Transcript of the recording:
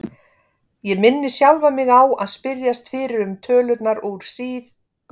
Ég minni sjálfan mig á að spyrjast fyrir um tölurnar úr síð